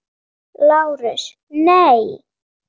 LÁRUS: Nei!